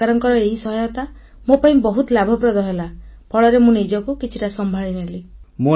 ସରକାରଙ୍କର ଏହି ସହାୟତା ମୋ ପାଇଁ ବହୁତ ଲାଭପ୍ରଦ ହେଲା ଫଳରେ ମୁଁ ନିଜକୁ କିଛିଟା ସମ୍ଭାଳିନେଲି